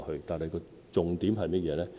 但是，重點是甚麼呢？